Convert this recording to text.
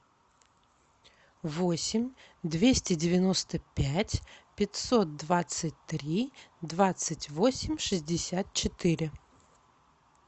восемь двести девяносто пять пятьсот двадцать три двадцать восемь шестьдесят четыре